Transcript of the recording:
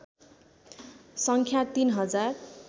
सङ्ख्या ३ हजार